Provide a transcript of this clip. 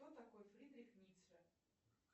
кто такой фридрих ницше